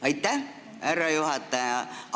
Aitäh, härra juhataja!